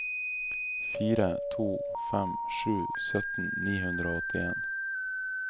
fire to fem sju sytten ni hundre og åttien